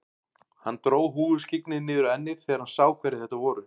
Hann dró húfuskyggnið niður á ennið þegar hann sá hverjir þetta voru.